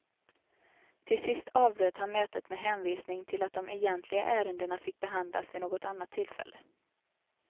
Till sist avbröt han mötet med hänvisning till att de egentliga ärendena fick behandlas vid något annat tillfälle.